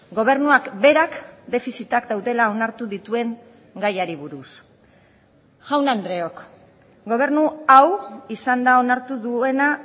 gobernuak berak defizitak daudela onartu dituen gaiari buruz jaun andreok gobernu hau izan da onartu duena